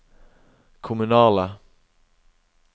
kommunale